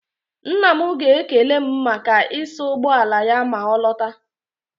Nna m ga-ekele m maka ịsa ụgbọ ala ya ma ọ lọta.